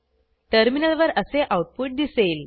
टर्मिनलवर असे आऊटपुट दिसेल